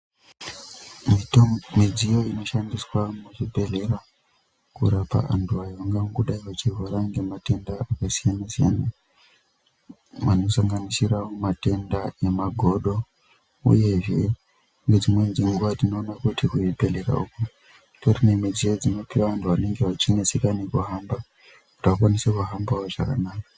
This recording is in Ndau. Mitombo midziyo inoshandiswa muzvibhedhlera kurapa antu angangodai eirwara ngematenda akasiyana siyana anosanganisira matenda emagodo uyezve ngedzimweni dzenguwa tinoona kuti kuzvibhedhlera uku kutori nemudziyo dzinenge dzeipuwe vantu vanenga vachineseka nekuhamba kuti vakwanise kuhambawo zvakanaka.